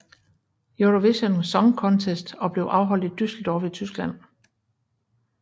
Eurovision Song Contest og blev afholdt i Düsseldorf i Tyskland